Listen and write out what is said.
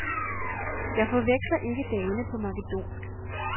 Jeg forveksler ikke dagene på makedonsk.